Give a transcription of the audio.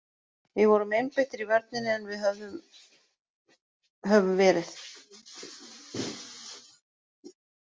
Við vorum einbeittir í vörninni en við höfum verið.